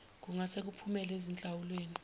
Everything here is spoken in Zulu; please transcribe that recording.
kungase kuphumele ezinhlawulweni